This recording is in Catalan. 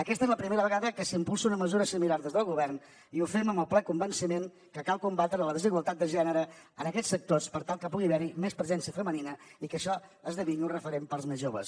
aquesta es la primera vegada que s’impulsa una mesura similar des del govern i ho fem amb el ple convenciment que cal combatre la desigualtat de gènere en aquests sectors per tal que pugui haver hi més presència femenina i que això esdevingui un referent per als més joves